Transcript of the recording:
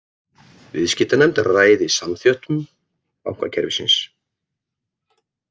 Viðskiptanefnd ræði samþjöppun bankakerfisins